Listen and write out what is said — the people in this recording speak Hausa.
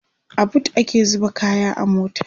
a booth ake zuba kaya a mota